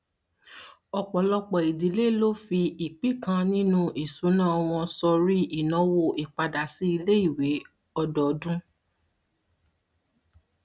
ọpọlọpọ ìdílé ló fi ìpín kan nínu ìṣùnà wọn sọrí ìnáwó ìpadàsíiléìwé ọdọọdún